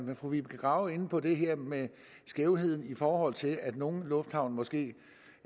var fru vibeke grave inde på det her med skævheden i forhold til at nogle lufthavne måske